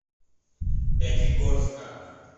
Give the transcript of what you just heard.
пятигорска